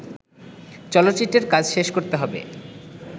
চলচ্চিত্রের কাজ শেষ করতে হবে